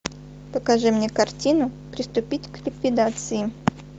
покажи мне картину приступить к ликвидации